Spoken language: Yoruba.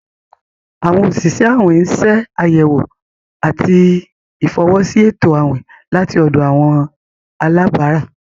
Awọn osìsẹ̀ àwìn n ṣẹ̀ ayẹwò àti ifọwọsi ètò àwìn lati ọ̀dọ̀ àwọn alàbárà.